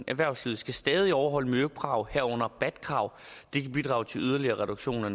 erhvervslivet skal stadig overholde miljøkrav herunder bat krav det kan bidrage til yderligere reduktion af